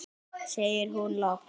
segir hún loks.